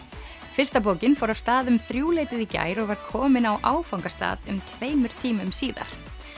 fyrsta bókin fór af stað um þrjúleytið í gær og var komin á áfangastað um tveimur tímum síðar